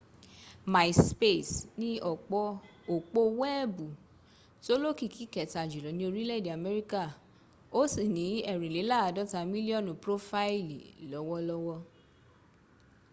myspace ni òpó weebu tó lókìkí kẹta jùlọ ni orílè-èdè améríkà o si ni èrìnlélàádọ́ta millionu prófáílì lọ́wọ́lọ́wọ́